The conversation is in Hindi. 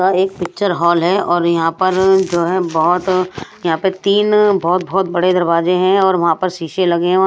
यहां एक पिक्चर हॉल है और यहां पर जो है बहुत यहां पर तीन बहुत बहुत बड़े दरवाजे हैं और वहां पर शीशे लगे हैं।